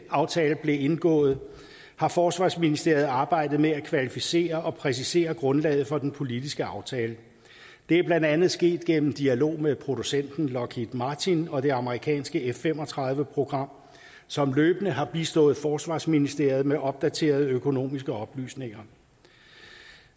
aftale blev indgået har forsvarsministeriet arbejdet med at kvalificere og præcisere grundlaget for den politiske aftale det er blandt andet sket gennem dialog med producenten lockheed martin og det amerikanske f fem og tredive program som løbende har bistået forsvarsministeriet med opdaterede økonomiske oplysninger